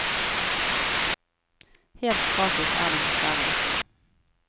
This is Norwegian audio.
Helt gratis er det dessverre ikke.